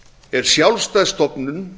er sjálfstæð stofnun